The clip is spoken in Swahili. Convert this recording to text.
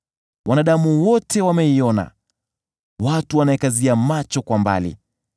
Wanadamu wote wameiona; watu wanaikazia macho kwa mbali.